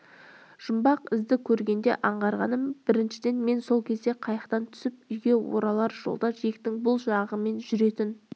жұмбақ ізді көргенде аңғарғаным біріншіден мен сол кезде қайықтан түсіп үйге оралар жолда жиектің бұл жағымен жүретін